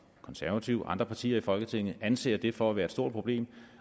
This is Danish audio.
konservative og andre partier i folketinget anser det for at være stort problem